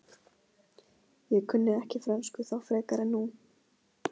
Ég kunni ekki frönsku þá frekar en nú.